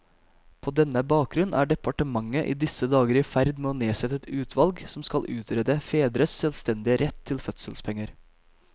På denne bakgrunn er departementet i disse dager i ferd med å nedsette et utvalg som skal utrede fedres selvstendige rett til fødselspenger.